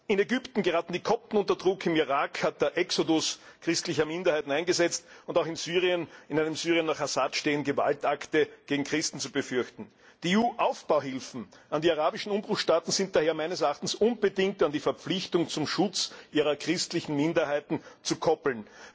In Ägypten geraten die Kopten unter Druck, im Irak hat der Exodus christlicher Minderheiten eingesetzt, und auch in einem Syrien nach Assad stehen Gewaltakte gegen Christen zu befürchten. Die EU Aufbauhilfen an die arabischen Umbruchstaaten sind daher meines Erachtens unbedingt an die Verpflichtung zum Schutz ihrer christlichen Minderheiten zu koppeln.